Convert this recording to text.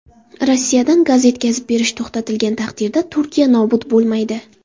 Rossiyadan gaz yetkazib berish to‘xtatilgan taqdirda Turkiya nobud bo‘lmaydi.